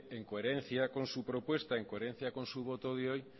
en coherencia con su propuesta en coherencia con su voto de hoy